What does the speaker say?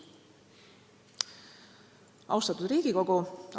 Austatud Riigikogu!